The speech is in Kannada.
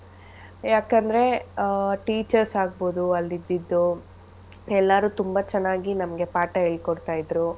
ಯಾಕಂದ್ರೆ ಆಹ್ teachers ಆಗ್ಬೋದು ಅಲ್ ಇದ್ದಿದ್ದು ಎಲ್ಲರೂ ತುಂಬಾ ಚೆನ್ನಾಗಿ ಪಾಠ ಹೇಳ್ಕೊಡ್ತಾಯಿದ್ರು.